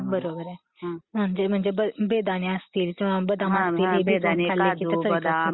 हम्म , बरोबर आहे . ते म्हणजे बेदाणे असती किंवा मग ते बदाम भिजवून खाल्ले मग ते ..